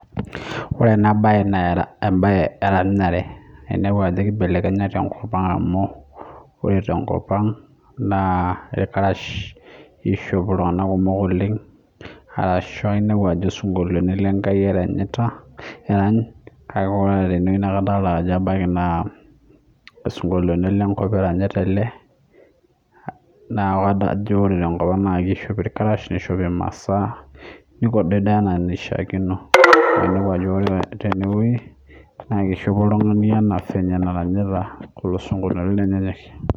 Ore ena mbae enkatin are adol Ajo kibelekenye tenkop ang amu ore tenkop naa orkarash eShop iltung'ana kumok oleng ashu enepu Ajo sinkoliotin lenkai eranyita kake ore tenewueji naa kadol Ajo ebaiki naa sinkoliotin lenkop eranyita ele naa kajo kishopi Irkarash nishoo emasaa nikido ena enaishakino naa ore tenewueji naa kishopi oltung'ani ena fenye naranyita esinkoliotin